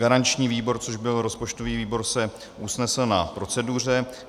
Garanční výbor, což byl rozpočtový výbor, se usnesl na proceduře.